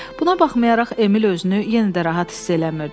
Buna baxmayaraq Emil özünü yenə də rahat hiss eləmirdi.